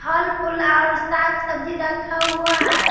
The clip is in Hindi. फल-फुल आउ साग-सब्जी रखा हुआ है।